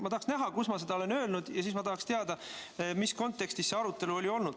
Ma tahaks näha, kus ma olen nii öelnud, ja siis ma tahaksin teada, mis kontekstis see arutelu oli.